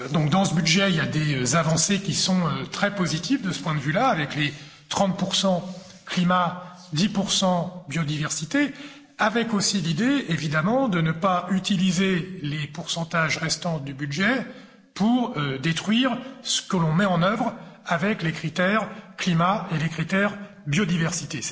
Dans ce budget, il y a des avancées qui sont très positives de ce point de vue là, avec les 30 climat, 10 biodiversité, avec aussi l'idée, évidemment, de ne pas utiliser les pourcentages restants du budget pour détruire ce que l'on met en œuvre avec les critères climat et les critères biodiversité.